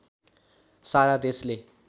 सारा देशले